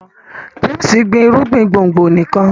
James gbin irúgbìn gbòngbò nìkàn.